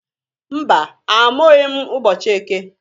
Mba! Amụghị m ụbọchị eke.